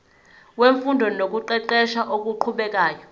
wemfundo nokuqeqesha okuqhubekayo